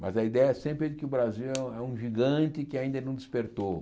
Mas a ideia é sempre de que o Brasil é um é um gigante que ainda não despertou.